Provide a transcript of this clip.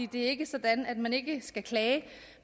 det er ikke sådan at man ikke skal klage